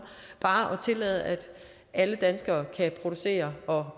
bare at tillade at alle danskere kan producere og